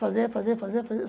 Fazer, fazer, fazer, fazer.